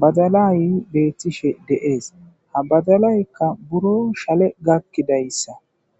badalay beettishe de7ees ha badalaykka buro shale gakkidayssa.